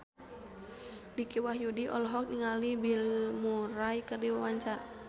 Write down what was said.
Dicky Wahyudi olohok ningali Bill Murray keur diwawancara